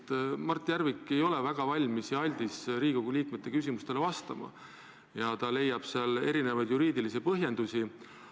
Sellepärast, et Mart Järvik ei ole väga aldis Riigikogu liikmete küsimustele vastama ja leiab sellele erinevaid juriidilisi põhjendusi.